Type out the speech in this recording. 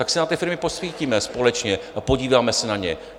Tak si na ty firmy posvítíme společně a podíváme se na ně.